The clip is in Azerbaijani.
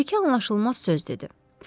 Bir-iki anlaşılmaz söz dedi.